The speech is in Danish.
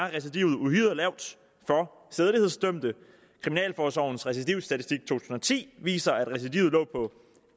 recidivet uhyre lavt for sædelighedsdømte kriminalforsorgens recidivstatistik to tusind og ti viser at recidivet lå på